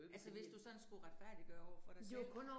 Altså hvis du sådan skulle retfærdiggøre overfor dig selv